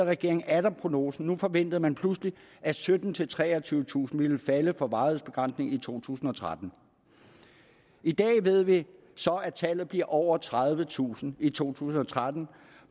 regeringen atter prognosen nu forventede man pludselig at syttentusind treogtyvetusind ville falde for varighedsbegrænsningen i to tusind og tretten i dag ved vi så at tallet bliver over tredivetusind i to tusind og tretten